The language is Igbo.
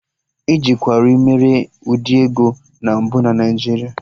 E ji kawrị mere ụdị ego na mbụ na Naijiria